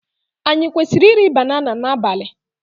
Anyị kwesịrị iri banana n'abalị?